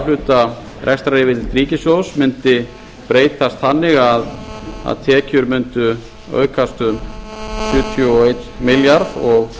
hluta rekstraryfirlits ríkissjóðs mundi breytast þannig að tekjur mundu aukast um sjötíu og einn milljarð og útgjöld